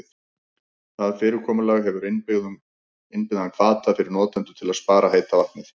Það fyrirkomulag hefur innbyggðan hvata fyrir notendur til að spara heita vatnið.